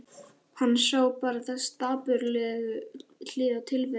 Hann sá bara þessa dapurlegu hlið á tilverunni.